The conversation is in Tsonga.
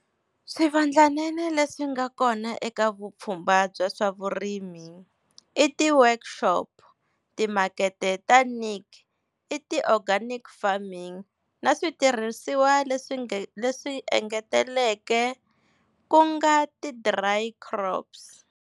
Swivandlanene leswi nga kona eka vupfhumba bya swa vurimi i ti-workshop, timakete ta Niche i ti-organic farming na switirhisiwa leswi leswi engetelekeke ku nga ti-dry crops.